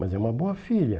Mas é uma boa filha.